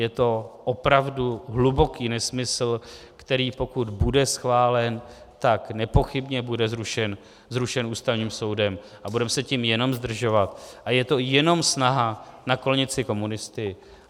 Je to opravdu hluboký nesmysl, který pokud bude schválen, tak nepochybně bude zrušen Ústavním soudem a budeme se tím jenom zdržovat a je to jenom snaha naklonit si komunisty.